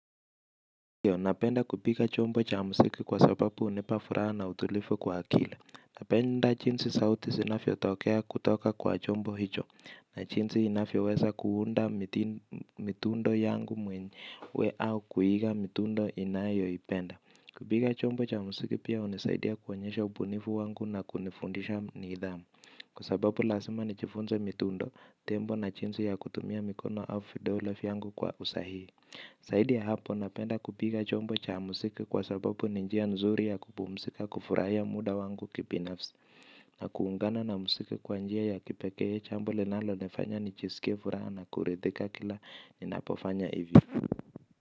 Napenda kupika chombo cha muziki kwa sababu unipa furaha na utulifu kwa akili. Napenda jinsi sauti zinavyotokea kutoka kwa chombo hicho. Na jinsi inavyoweza kuunda mitundo yangu mwenyewe au kuiga mitundo inayoipenda. Kupika chombo cha muziki pia unisaidia kuonyesha ubunifu wangu na kunifundisha nidhamu. Kwa sababu lazima nijifunze mitundo, tembo na jinsi ya kutumia mikono au vidole yangu kwa usahii. Zaidi ya hapo napenda kupiga chombo cha muziki kwa sababu ni njia nzuri ya kupumzika kufurahia muda wangu kibinafsi. Na kuungana na muziki kwa njia ya kipekee chombo linalonifanya nijisike furaha na kuridhika kila ninapofanya ivyo.